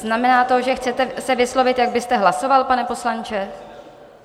Znamená to, že se chcete vyslovit, jak byste hlasoval, pane poslanče?